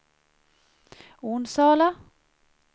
Onsala